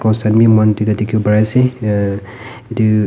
cross khan bi moihan duita dikhi pari ase uh etu--